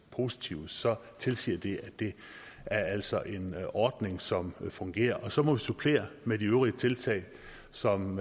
positive så tilsiger det at det altså er en ordning som fungerer og så må vi supplere med de øvrige tiltag som